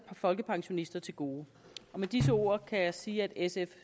folkepensionister til gode med disse ord kan jeg sige at sf